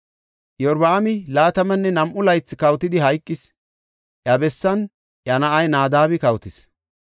Iyorbaami laatamanne nam7u laythi kawotidi hayqis. Iya bessan iya na7ay Naadabi kawotis.